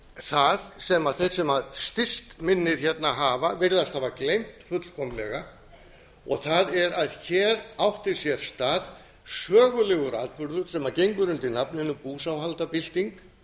það sem þeir sem styst minnið hérna hafa virðast hafa gleymt fullkomlega það er að hér átti sér stað sögulegur atburður sem gengur undir nafninu búsáhaldabylting